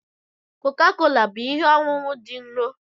Coca-Cola bụ ihe ọṅụṅụ dị nro.